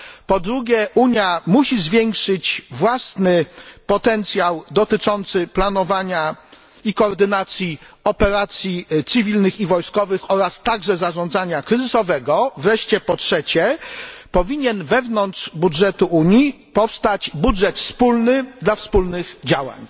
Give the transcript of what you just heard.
Po drugie, Unia musi zwiększyć własny potencjał dotyczący planowania i koordynacji operacji cywilnych i wojskowych oraz także zarządzania kryzysowego. Wreszcie po trzecie, powinien wewnątrz budżetu Unii powstać wspólny budżet dla wspólnych działań.